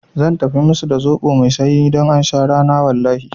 Zan tafi musu da zoɓo mai sanyi don aun sha rana wallahi